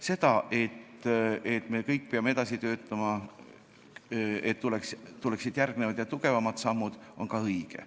See, et me kõik peame edasi töötama, et tuleksid järgmised ja tugevamad sammud, on samuti õige.